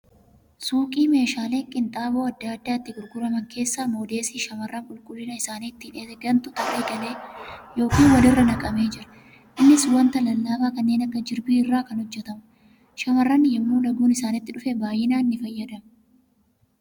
Suuqii meeshaaleen qinxaaboo adda adda itti gurguraman keessatti moodeesii shamarran qulqullina isaanii ittiin eegantu tarree galee yookan walirraa naqamee jira. Innis wanta lallaafaa kanneen akka jirbii irraa kan hojjatamuudha. Shamarran yemmuu laguun isaanii itti dhufe baay'inaan ni fayyadamu.